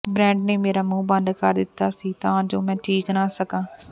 Brett ਨੇ ਮੇਰਾ ਮੂੰਹ ਬੰਦ ਕਰ ਦਿੱਤਾ ਸੀ ਤਾਂ ਜੋ ਮੈਂ ਚੀਕ ਨਾ ਸਕਾਂ